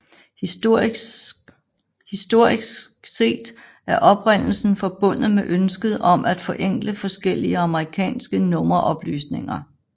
Historisk set er oprindelsen forbundet med ønsket om at forenkle forskellige amerikanske nummeroplysninger